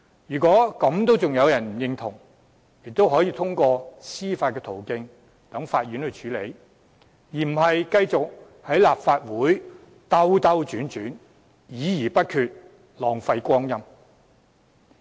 如果仍然有人對此不表認同，可通過司法途徑在法院處理，而非繼續在立法會兜兜轉轉，議而不決，浪費光陰。